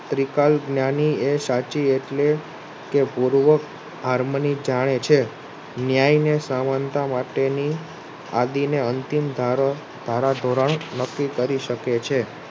ત્રીકલ્પ જ્ઞાની એ સાચી એટલે કે પૂર્વ આર્મની જાણે છે. ન્યાયને સમાનતા માટે ની આદિ ને અંતિમ ધારાધોરણ નક્કી કરી શકે છે.